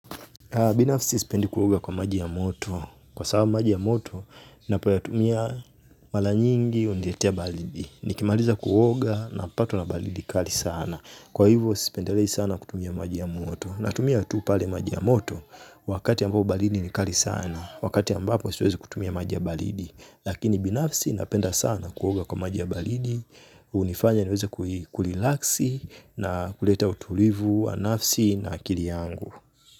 Binafsi sipendi kuoga kwa maji ya moto. Kwa sababu maji ya moto ninapoyatumia mara nyingi huniletea baridi. Nikimaliza kuoga napatwa na baridi kali sana. Kwa hivyo, sipendelei sana kutumia maji ya moto. Natumia tu pale maji ya moto wakati ambao baridi ni kali sana. Wakati ambapo siwezi kutumia maji ya baridi. Lakini binafsi napenda sana kuoga kwa maji ya balidi. Hunifanya niweze kurilaksi na kuleta utulivu wa nafsi na akili yangu.